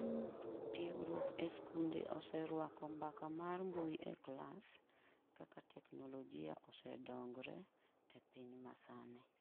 tiegruok e skunde oseruako mbaka mar mbui e klas kaka teknolojia osedongre e piny masani.